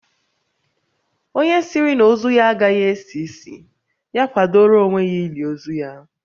Onye sịrị na ozu ya agaghị esi ísì, ya kwadoro onwe ya ili ozu ya